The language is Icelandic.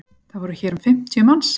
Það voru hér um fimmtíu manns